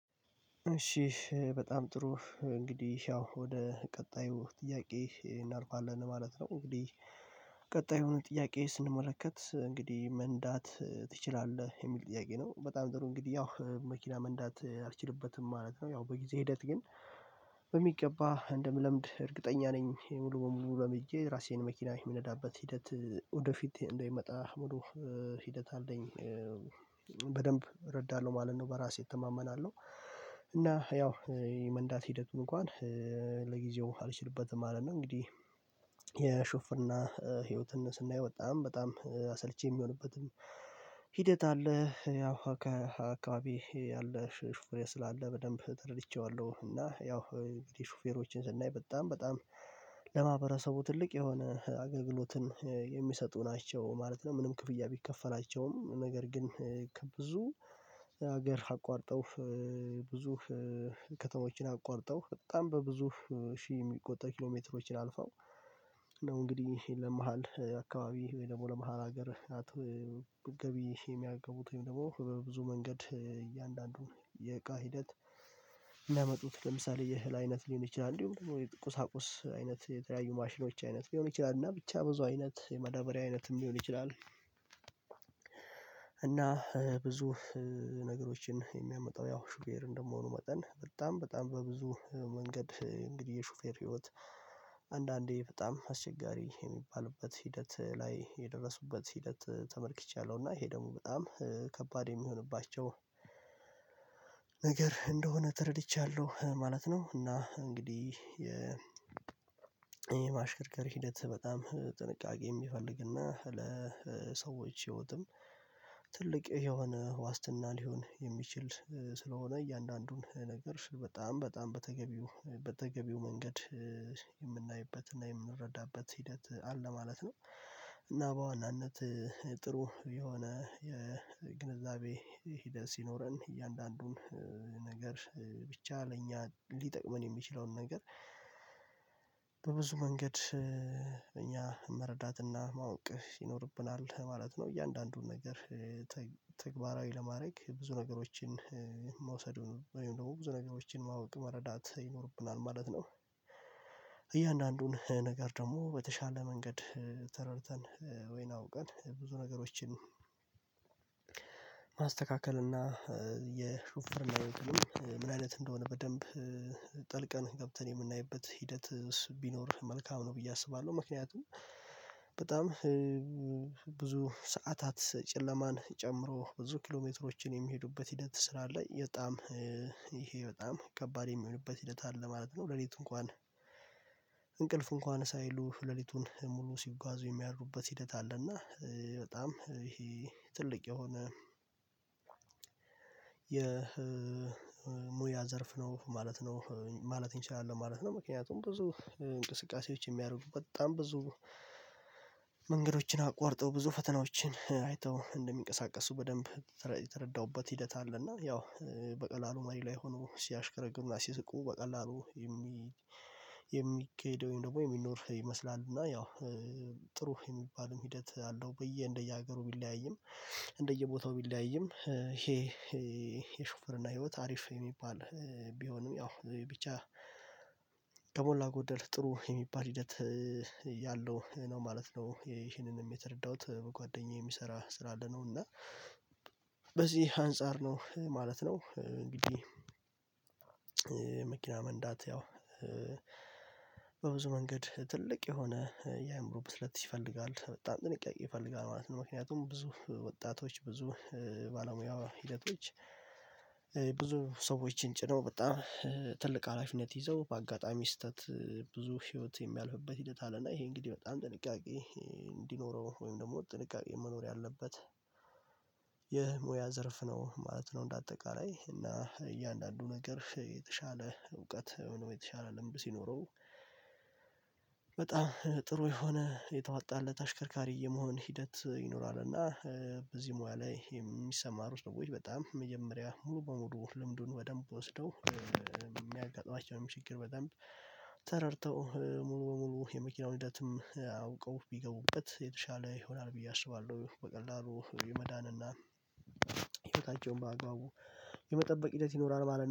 እሺ በጣም ጥሩ እንግዲህ ያው ወደ ቀጣዩ ጥያቄ እናልፋለን ማለት ነው እንግዲህ ቀጣይ የሆነ ጥያቄ ስንመለከት እንግዲህ መንዳት ትችላለህ የሚል ጥያቄ ነው በጣም ጥሩ እንግዲህ ያው መኪና መንዳት አልችልበትም ማለት ነው ያው በጊዜ ሂደት ግን በሚገባ እንደምለምድ እርግጠኛ ነኝ ሙሉ በሙሉ ለምጀ ራሴን መኪና የምነዳበት ሂደት ወደፊት እንደሚመጣ ሙሉ ሂደት አለኝ በደንብ እረዳለሁ ማለት ነው በራሴ እተማመናለሁ እና ያው የመንዳት ሂደቱን እንኳን ለጊዜው አልችልበትም ማለት ነው እንግዲህ የሹፍና ህይወትን ስናይ በጣም በጣም አሰልቼ የሚሆንበትም ሂደት አለ ያው ከአካባቢየ ያለ ሹፌር ስላለ በደንብ ተረድቼዋለሁ እና ያው እንግዲህ ሹፌሮችን ስናይ በጣም በጣም ለማህበረሰቡ ትልቅ የሆነ አገልግሎትን የሚሰጡ ናቸው ማለት ነው ምንም ክፍያ ቢከፈላቸውም ነገር ግን ከብዙ ሀገር አቋርጠው ብዙ ከተሞችን አቋርጠው በጣም በብዙ ሺህ የሚቆጠር ኪሎ ሜትሮችን አልፈው ነው እንግዲህ ይሄን ለመሃል አካባቢ ወይ ደግሞ ለመሃል ሀገር ገቢ የሚያገቡት ወይም ደግሞ ብዙ መንገድ እያንዳንዱን የእቃ ሂደት የሚያመጡት ለምሳሌ የእህል አይነት ሊሆን ይችላል እንዲሁም ቁሳቁስ አይነት የተለያዩ ማሽኖች አይነት ሊሆን ይችላል እና ብቻ ብዙ አይነት የማዳበሪያ አይነትም ሊሆን ይችላል እና ብዙ ነገሮችን የሚያመጣው ያው ሹፌር እንደመሆኑ መጠን በጣም በጣም በብዙ መንገድ እንግዲህ የሹፌር ህይወት አንዳንዴ በጣም አስቸጋሪ የሚባልበት ሂደት ላይ የደረሱበት ሂደት ተመልክቻለሁ እና ይሄ ደግሞ በጣም ከባድ የሚሆንባቸው ነገር እንደሆነ ተረድቻለሁ ማለት ነው እና እንግዲህ የ የማሽከርከር ሂደት በጣም ጥንቃቄ የሚፈልግና ለሰዎች ህይወትም ትልቅ የሆነ ዋስትና ሊሆን የሚችል ስለሆነ እያንዳንዱን ነገር በጣም በጣም በተገቢው በተገቢው መንገድ የምናይበት እና የምንረዳበት ሂደት አለ ማለት ነው እና በዋናነት ጥሩ የሆነ የግንዛቤ ሂደት ሲኖረን እያንዳንዱን ነገር ብቻ ለእኛ ሊጠቅመን የሚችለውን ነገር መንገድ እኛ መረዳትና ማወቅ ይኖርብናል ማለት ነው እያንዳንዱን ነገር ተግባራዊ ለማድረግ ብዙ ነገሮችን መውስዱ ነው ወይም ደግሞ ብዙ ነገሮችን ማወቅ መረዳት ይኖርብናል ማለት ነው እያንዳንዱን ነገር ደግሞ በተሻለ መንገድ ተረድተን ወይን አውቀን ብዙ ነገሮችን ማስተካከል እና የሽፉርና ህይወት ምን አይነት እንደሆነ በደንብ ጠልቀን ገብተን የምናይበት ሂደት እሱ ቢኖር መልካም ነው ብዬ አስባለሁ ምክንያቱም በጣም ብዙ ሰዓታት ጨለማን ጨምሮ ብዙ ኪሎሜትሮችን የሚሄዱበት ሂደት ስላለ በጣም ይሄ በጣም ከባድ የሚሆንበት ሂደት አለ ማለት ነው፤ ሌሊቱ እንኳን እንቅልፍ እንኳን ሳይሉ ሌሊቱን ሙሉ ሲጓዙ የሚያደርጉበት ሂደት አለ እና በጣም ይሄ ትልቅ የሆነ የሙያ ዘርፍ ነው ማለት ነው ማለት እንችላለን ማለት ነው ምክንያቱም ብዙ እንቅስቃሴዎች የሚያደርጉ በጣም ብዙ መንገዶችን አቋርጠው ብዙ ፈተናዎችን አይተው እንደሚንቀሳቀሱ በደንብ የተረዳሁበት ሂደት አለ እና ያው በቀላሉ መሪ ላይ ሆኖ ሲያሽከረክሩ እና ሲስቁ በቀላሉ የሚሄደውን ደግሞ የሚኖር ይመስላል እና ያው ጥሩ የሚባልም ሂደት አለው ብዬ እንደየሀገሩ ቢለያይም እንደየቦታው ቢለያይም ይሄ የሹፍርና ህይወት አሪፍ የሚባል ቢሆንም ያው ብቻ ከሞላ ጎደል ጥሩ የሚባል ሂደት ያለው ነው ማለት ነው ይህንንም የተረዳሁት በጓደኛዬ የሚሰራ ስራ አለ ነው እና በዚህ አንፃር ነው ማለት ነው እንግዲህ መንዳት ያው በብዙ መንገድ ትልቅ የሆነ የአእምሮ ብስለት ይፈልጋል በጣም ጥንቃቅ ይፈልጋል ማለት ነው ምክንያቱም ብዙ ወጣቶች ብዙ ባለሙያ ሂደቶች ብዙ ሰዎችን ጭነው በጣም ትልቅ ሀላፊነት ይዘው በአጋጣሚ ስህተት ብዙ ህይወት የሚያልፍበት ሂደት አለና ይሄ እንግዲህ በጣም ጥንቃቄ እንዲኖረው ወይም ደግሞ ጥንቃቄ መኖር ያለበት ይህ ሙያ ዘርፍ ነው ማለት ነው እንደ አጠቃላይ እና እያንዳንዱ ነገር የተሻለ እውቀት ወይም ደግሞ የተሻለ ልምድ ሲኖረው በጣም ጥሩ የሆነ የተዋጠለት አሽከርካሪ የመሆን ሂደት ይኖራል እና በዚህ ሙያ ላይ የሚሰማሩ ሰዎች በጣም መጀመሪያ ሙሉ በሙሉ ልምዱን በደንብ ወስደው የሚያጋጥማቸውም ችግር በደንብ ተረድተው ሙሉ በሙሉ የመኪናውን ሂደትም አውቀው ቢገቡበት የተሻለ ይሆናል ብዬ አስባለሁ በቀላሉ የመዳን እና ህይወታቸውን በአግባቡ የመጠበቅ ሂደት ይኖራል ማለትነው።